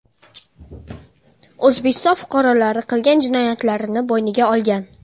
O‘zbekiston fuqarolari qilgan jinoyatlarini bo‘yniga olgan.